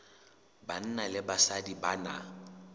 banna le basadi ba na